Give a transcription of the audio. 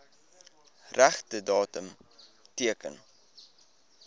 regte datum teken